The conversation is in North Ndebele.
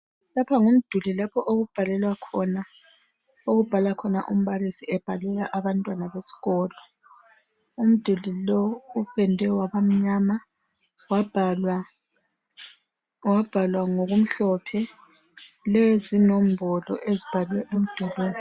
lapha ngumduli lapho okubhalelwa khona okubhala khona umbalisi ebhalela abantwana besikolo umdulilo upendwe wabamnyama wabhalwa ngokumhlophe kulezi nombolo ezibhalwe emdulwini